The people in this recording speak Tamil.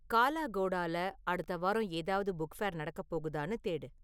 காலாகோடால அடுத்த வாரம் ஏதாவது புக் ஃபேர் நடக்கப் போகுதான்னு தேடு